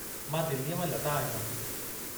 मां दिल्लीअ मां लता आहियां।